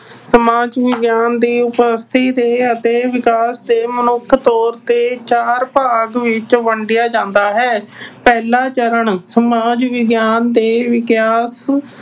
ਸਮਾਜ ਵਿਗਿਆਨ ਦੀ ਦੇ ਅਤੇ ਵਿਕਾਸ ਤੇ ਮੁੱਖ ਤੌਰ ਤੇ ਚਾਰ ਭਾਗ ਵਿੱਚ ਵੰਡਿਆ ਜਾਂਦਾ ਹੈ। ਪਹਿਲਾ ਚਰਨ, ਸਮਾਜ ਵਿਗਿਆਨ ਦੇ ਵਿਕਾਸ